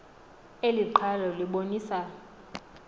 eli qhalo libonisa